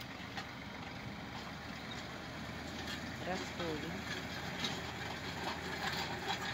ростове